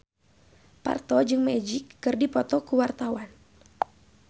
Parto jeung Magic keur dipoto ku wartawan